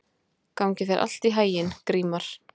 Gangi þér allt í haginn, Grímar.